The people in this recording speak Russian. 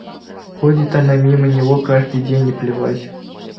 ходит она мимо него каждый день и плевать